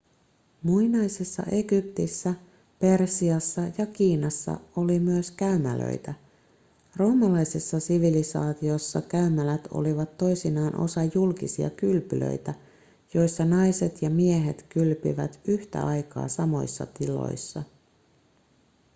muinaisessa egyptissä persiassa ja kiinassa oli myös käymälöitä roomalaisessa sivilisaatiossa käymälät olivat toisinaan osa julkisia kylpylöitä joissa naiset ja miehet kylpivät yhtä aikaa samoissa tiloissa